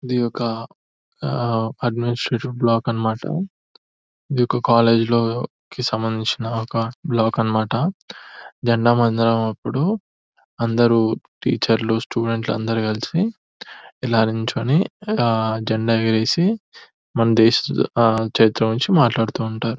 ఇది ఒక administrative block అనిమాట ఇదొక కాలేజ్ లో కి సంబంధించిన బ్లాక్ అనిమాట జెండా వందనం అప్పుడు అందరూ టీచర్లు స్టూడెంట్లు అందరు కలిసి ఇలా నిల్చొని ఆ జెండా ఎగరేసి మన దేశ చరిత్ర గురించి మాట్లాడుతుంటారు.